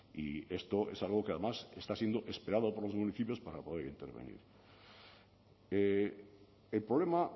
y esto es algo que además está siendo esperado por los municipios para poder intervenir el problema